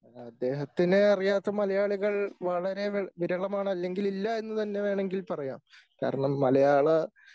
അദ്ദേഹത്തിനെ അറിയാത്ത മലയാളികൾ വളരെ വി വിരളമാണ് അല്ലെങ്കിൽ ഇല്ല എന്ന് തന്നെ വേണമെങ്കിൽ പറയാം. കാരണം മലയാള